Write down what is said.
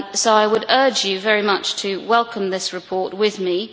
I would urge you very much to welcome this report with me.